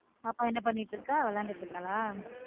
பாப்பா என்ன பண்ணிட்டு இருக்க விளையாடிட்டு இருக்காலா?